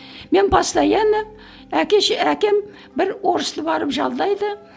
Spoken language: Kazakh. мен постоянно әкем бір орысты барып жалдайды